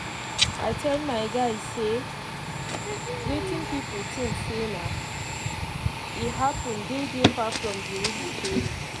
i tell my guy say wetin pipo think say na e happen dey dey far from d real story